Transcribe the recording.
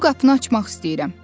Bu qapını açmaq istəyirəm.